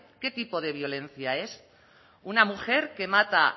qué tipo de violencia es una mujer que mata